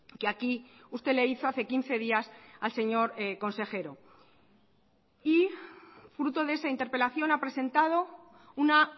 que aquí usted le hizo hace quince días al señor consejero y fruto de esa interpelación ha presentado una